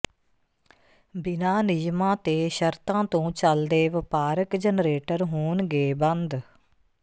ਬਿਨਾ ਨਿਯਮਾਂ ਤੇ ਸ਼ਰਤਾਂ ਤੋਂ ਚੱਲਦੇ ਵਪਾਰਕ ਜਨਰੇਟਰ ਹੋਣਗੇ ਬੰਦ